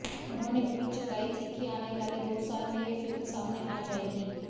उन्होंने उम्मीद जताई थी कि आने वाले दो साल में ये फिल्म सामने आ जाएगी